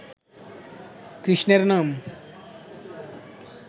কৃষ্ণের নাম